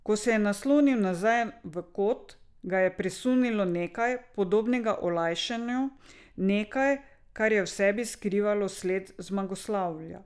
Ko se je naslonil nazaj v kot, ga je presunilo nekaj, podobnega olajšanju, nekaj, kar je v sebi skrivalo sled zmagoslavja.